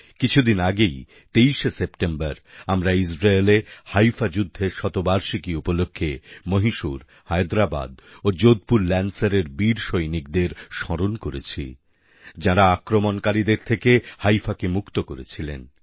কিছুদিন আগেই ২৩শে সেপ্টেম্বর আমরা ইজরায়েলে হাইফা যুদ্ধের শতবার্ষিকী উপলক্ষে মহীশূর হায়দ্রাবাদ ও যোধপুর ল্যান্সারের বীর সৈনিকদের স্মরণ করেছি যাঁরা আক্রমণকারীদের থেকে Haifaকে মুক্ত করেছিলেন